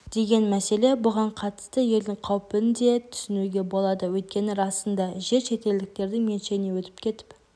деген мәселе бұған қатысты елдің қауіпін де түсінуге болады өйткені расында жер шетелдіктердің меншігіне өтіп кетіп